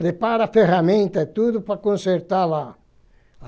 Prepara a ferramenta e tudo para consertar lá.